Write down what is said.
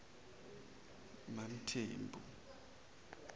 mamthembu